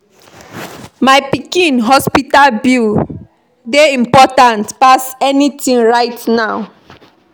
My pikin hospital bill dey important pass anything right now